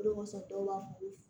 Olu kɔsɔn dɔw b'a fɔ